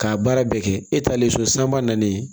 K'a baara bɛɛ kɛ e talen so san ba nalen